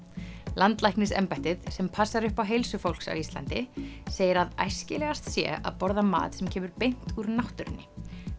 landlæknisembættið sem passar upp á heilsu fólks á Íslandi segir að æskilegast sé að borða mat sem kemur beint úr náttúrunni